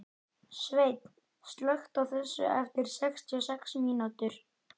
Sveinn, slökktu á þessu eftir sextíu og sex mínútur.